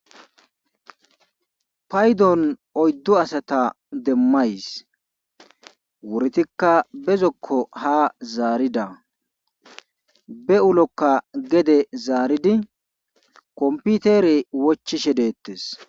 Paydon oyddu asata demmays wiritikka be zokko haa zaarida be ulokka gede zaaridi komppitere wochishe deettees.